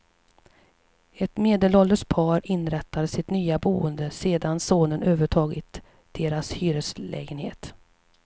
Ett medelålders par inrättar sitt nya boende sedan sonen övertagit deras hyreslägenhet.